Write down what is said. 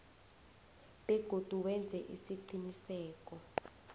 begodu wenze isiqiniseko